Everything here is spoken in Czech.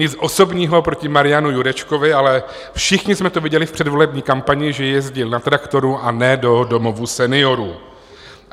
Nic osobního proti Marianu Jurečkovi, ale všichni jsme to viděli v předvolební kampani, že jezdil na traktoru, a ne do domovů seniorů.